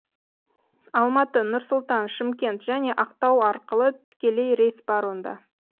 алматы нұр сұлтан шымкент және ақтау арқылы тікелей рейс бар онда